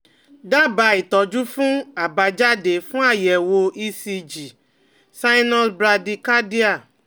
Daba itọ́jú fun abajade fun ayewo ECG sinus brady cardia